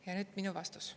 " Ja nüüd minu vastus.